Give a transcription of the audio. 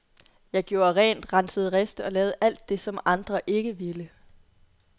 Jeg gjorde rent, rensede riste og lavede alt det, som alle andre ikke ville.